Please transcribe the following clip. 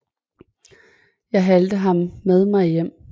Jeg halte ham med mig hjem